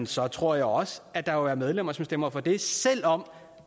så tror jeg også at der vil være medlemmer som stemmer for det selv om